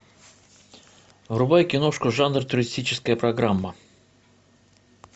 врубай киношку жанр туристическая программа